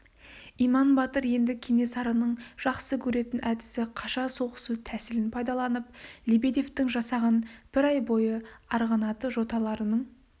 иман батыр енді кенесарының жақсы көретін әдісі қаша соғысу тәсілін пайдаланып лебедевтің жасағын бір ай бойы арғынаты жоталарының